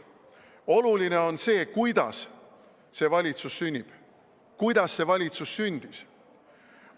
Oluline on see, kuidas see valitsus sünnib, kuidas see valitsus sündis.